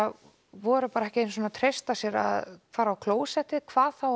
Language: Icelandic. voru ekki einu sinni að treysta sér að fara á klósettið hvað þá